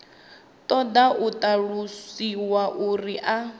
ṱoḓa u ṱalusiwa uri a